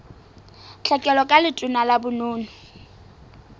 tlhekelo ka letona la bonono